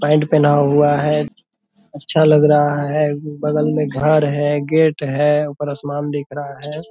Pant पहना हुआ है अच्छा लग रहा है। बगल में घर है गेट है ऊपर आसमान दिख रहा है।